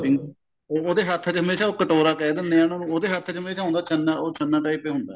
ਵੀ ਉਹਦੇ ਹੱਥ ਚ ਹਮੇਸ਼ਾ ਕਟੋਰਾ ਕਹਿ ਦਿੰਦੇ ਆ ਉਹਨਾ ਨੂੰ ਉਹਦੇ ਹੱਥ ਚ ਹਮੇਸ਼ਾ ਹੁੰਦਾ ਛੰਨਾ ਉਹ ਛੰਨਾ type ਹੀ ਹੁੰਦਾ